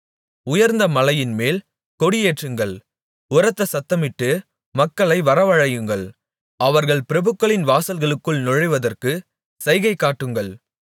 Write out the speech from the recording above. உயர்ந்த மலையின்மேல் கொடியேற்றுங்கள் உரத்த சத்தமிட்டு மக்களை வரவழையுங்கள் அவர்கள் பிரபுக்களின் வாசல்களுக்குள் நுழைவதற்குச் சைகை காட்டுங்கள்